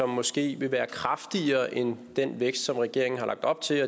måske vil være kraftigere end den vækst som regeringen har lagt op til